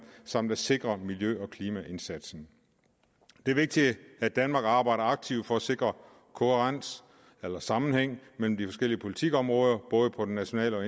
samt at sikre miljø og klimaindsatsen det er vigtigt at danmark arbejder aktivt for at sikre kohærens eller sammenhæng mellem de forskellige politikområder både på det nationale og